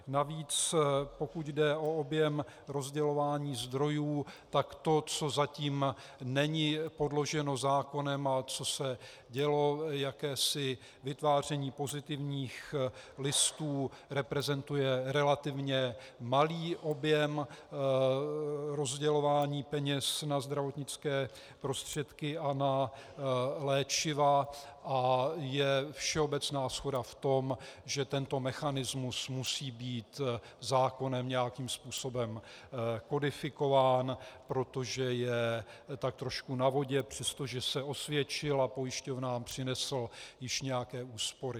Navíc pokud jde o objem rozdělování zdrojů, tak to, co zatím není podloženo zákonem a co se dělo, jakési vytváření pozitivních listů, reprezentuje relativně malý objem rozdělování peněz na zdravotnické prostředky a na léčiva a je všeobecná shoda v tom, že tento mechanismus musí být zákonem nějakým způsobem kodifikován, protože je tak trošku na vodě, přestože se osvědčil a pojišťovnám přinesl již nějaké úspory.